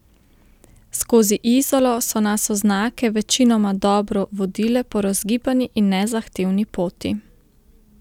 Skozi Izolo so nas oznake večinoma dobro vodile po razgibani in nezahtevni poti.